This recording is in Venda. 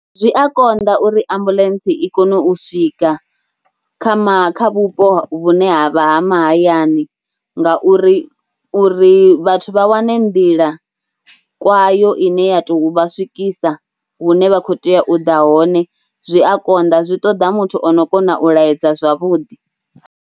Zwi a konḓa uri ambuḽentse i kone u swika kha ma, kha vhupo vhune ha vha ha mahayani ngauri, uri vhathu vha wane nḓila kwayo ine ya tou vha swikisa hune vha khou tea u ḓa hone zwi a konḓa, zwi ṱoḓa muthu o no kona u laedza zwavhuḓi.